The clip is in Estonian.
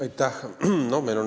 Aitäh!